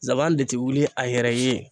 de ti wuli a yɛrɛ ye.